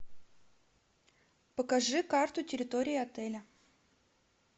покажи карту территории отеля